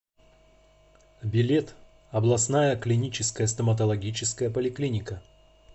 билет областная клиническая стоматологическая поликлиника